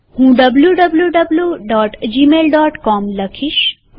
હું wwwgmailcom લખીશ